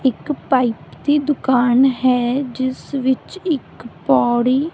ਇੱਕ ਪਾਈਪ ਦੀ ਦੁਕਾਨ ਹੈ ਜਿਸ ਵਿੱਚ ਇੱਕ ਪੌੜੀ --